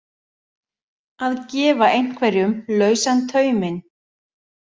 Að gefa einhverjum lausan tauminn